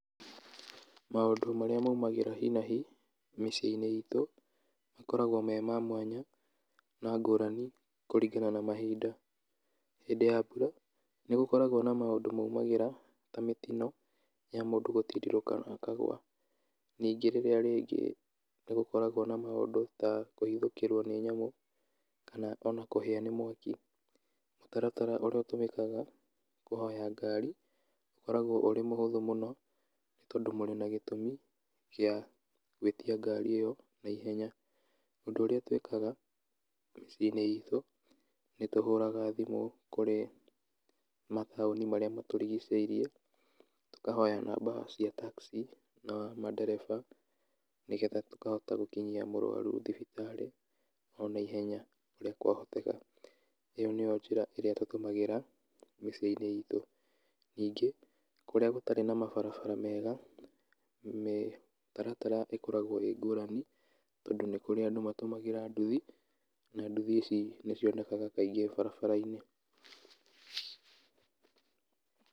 Maũndũ marĩa maumagĩra hi na hi, mĩciĩ-inĩ itũ, makoragwo me ma mwanya, na ngũrani, kũringana na mahinda, hĩndĩ ya mbura, nĩgũkoragwo na maũndũ maumagĩra ta mĩtino ya mũndũ gũtindirũka akagwa, ningĩ rĩrĩa rĩngĩ nĩgũkoragwo na maũndũ ta kũhithũkĩrwo nĩ nyamũ, kana ona kũhĩa nĩ mwaki, mũtaratara ũrĩa ũtũmĩkaga kũhoya ngari, ũkoragwo ũrĩ mũhũthũ mũno, nĩ tondũ mũrĩ na gĩtũmi gĩa gwĩtia ngari ĩyo na ihenya, ũndũ ũrĩa tuĩkaga mĩciĩ-inĩ itũ, nĩtũhũraga thimũ kũrĩ mataũni marĩa matũrigicĩirie, tũkahoya namba cia taxi na mandereba, nĩgetha tũkahota gũkinyia mũrwaru thibitarĩ ona ihenya ũrĩa kwahoteka, ĩyo nĩyo njĩra ĩrĩa tũtũmagĩra mĩciĩ-inĩ itũ. Ningĩ, kũrĩa gũtarĩ na mabarabara mega, mĩtaratara ĩkoragwo ĩ ngũrani, tondũ nĩ kũrĩ andũ matũmagĩra nduthi, na nduthi ici nĩcionekaga kaingĩ barabara-inĩ.